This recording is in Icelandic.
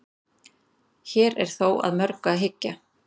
hér er þó að mörgu að hyggja